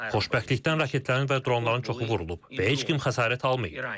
Xoşbəxtlikdən raketlərin və dronların çoxu vurulub və heç kim xəsarət almayıb.